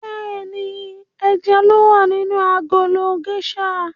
Bẹ́ẹ̀ni, ẹja ló wà nínú agolo géṣà.